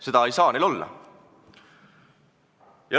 Seda ei saa olla!